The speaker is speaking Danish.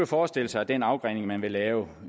forestille sig at den afgrening man vil lave